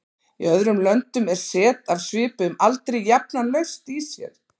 Í öðrum löndum er set af svipuðum aldri jafnan laust í sér.